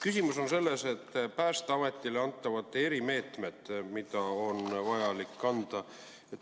Küsimus on Päästeametile antavates erimeetmetes, mida on vajalik rakendada.